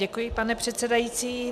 Děkuji, pane předsedající.